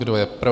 Kdo je pro?